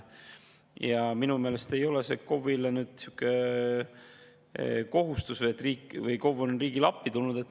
Ja minu meelest ei ole KOV-i kohustus või KOV on riigile appi tulnud.